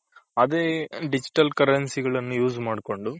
ಅದೇ digital currency ಗಳ್ನ use ಮಾಡ್ಕೊಂಡು